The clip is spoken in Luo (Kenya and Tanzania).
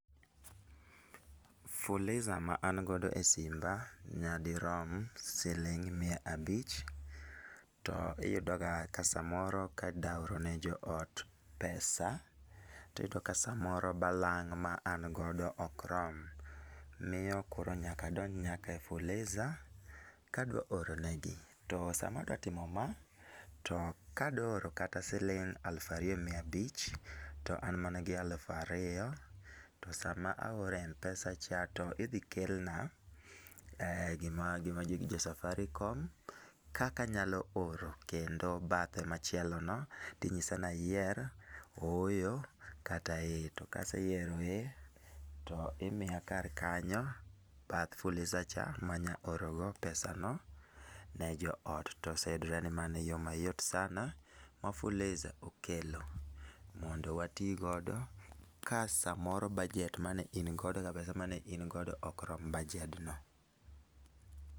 Fuliza ma an godo e simba nyadirom siling' mia abich. To iyudo ga ka samoro ka dwa oro ne jo ot p pesa tiyudo ka samoro balang' ma an godo ok rom. Miyo koro nyaka adonj nyaka e Fuliza kadwa oro negi. To sama adwa timo ma, to kadwa oro kata siling' aluf ariyo mia abich, to an mana gi aluf ariyo, to sama aoro Mpesa cha to idhi kelna, gima gima jo safaricom, kaka anyalo oro kendo bathe machielo no tinyisa ni ayier ooyo kata eeh. To kaseyiero eeh to imiya kar kanyo bath fuliza cha ma anya oro go pesa no ne jo ot. Toseyudre ni mano e yo mayot sana ma fuliza okelo mondo watii godo ka samoro bajet mane in godo gi pesa mane in godo ok rom bajed no.